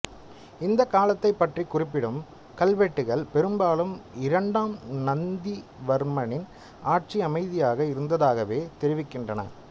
இந்தக் காலத்தைப் பற்றிக் குறிப்பிடும் கல்வெட்டுகள் பெரும்பாலும் இரண்டாம் நந்திவர்மனின் ஆட்சி அமைதியாக இருந்ததாகவே தெரிவிக்கின்றன